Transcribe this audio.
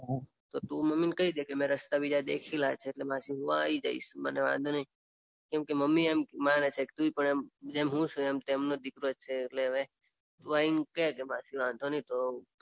તો મમ્મીને કઈ દે મેં રસ્તા બીજા દેખેલા છે એટલે માસી હું આવી જઈશ. મને વાંઘો નઈ કેમ કે મમ્મી એમ માને છે તું પણ જેમ હું છું તેમ તું પણ એમનો દીકરો જ છે એટલે હવે તું આઈને કે માસી વાંધો નઈ તો